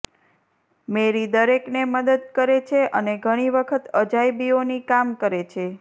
મેરી દરેકને મદદ કરે છે અને ઘણી વખત અજાયબીઓની કામ કરે છે